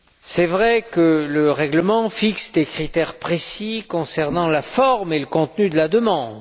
C'est vrai que le règlement fixe des critères précis concernant la forme et le contenu de la demande.